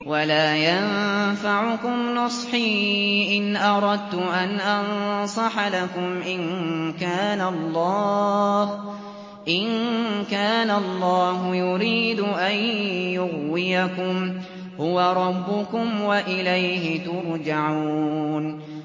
وَلَا يَنفَعُكُمْ نُصْحِي إِنْ أَرَدتُّ أَنْ أَنصَحَ لَكُمْ إِن كَانَ اللَّهُ يُرِيدُ أَن يُغْوِيَكُمْ ۚ هُوَ رَبُّكُمْ وَإِلَيْهِ تُرْجَعُونَ